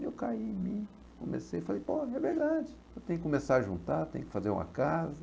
E eu caí em mim, comecei e falei, pô, é verdade, eu tenho que começar a juntar, tenho que fazer uma casa.